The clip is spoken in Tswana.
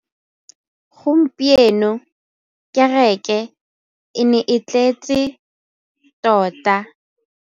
Gompieno kêrêkê e ne e tletse tota.